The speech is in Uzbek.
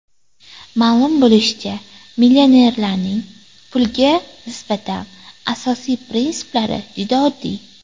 Ma’lum bo‘lishicha, millionerlarning pulga nisbatan asosiy prinsiplari juda oddiy.